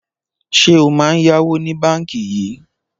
Ṣé o máa ń yáwó ní báńkì yìí?